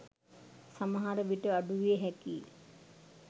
සමහරවිට අඩු විය හැකියි.